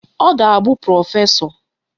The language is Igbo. Ọ ga-abụ prọfesọ